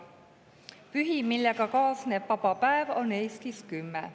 Pühi, millega kaasneb vaba päev, on Eestis 10.